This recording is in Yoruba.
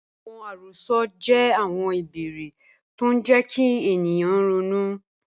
Awọn àròs̩ọ jẹ̀ awọn ìbèèrè̀ tó ń jẹ̀ kí ènìyàn rọ̀nú.